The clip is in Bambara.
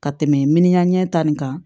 Ka tɛmɛ miliya ɲɛ ta nin kan